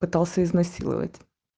пытался изнасиловать